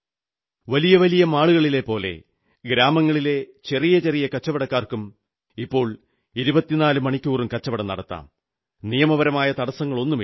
വലിയ വലിയ മാളുകളിലെപ്പോലെ ഗ്രാമങ്ങളിലെ ചെറിയ ചെറിയ കച്ചവടക്കാർക്കും ഇപ്പോൾ 24 മണിക്കൂറും കച്ചവടം നടത്താം നിയമപരമായ തടസ്സങ്ങളൊന്നുമില്ല